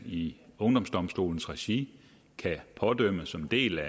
i ungdomsdomstolens regi kan pådømmes som en del